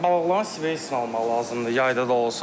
Balıqların svejinə almaq lazımdır, yayda da olsa.